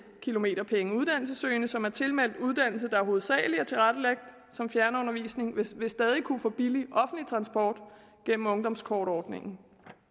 kilometerpenge uddannelsessøgende som er tilmeldt uddannelser der hovedsagelig er tilrettelagt som fjernundervisning vil vil stadig kunne få billig offentlig transport gennem ungdomskortordningen